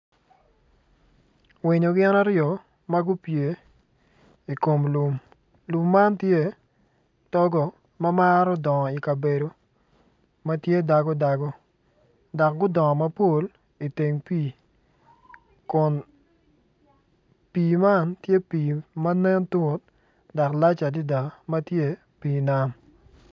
Winyo gin aryo magupye i kom lum, lum man togo mamaro dongo i kabedo matye dago dago dok gudongo mapol i teng pi kun pi man tye pi manen tut dok lac adada matye i pi nam.